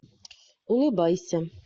улыбайся